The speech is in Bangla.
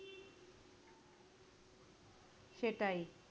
সেটাই।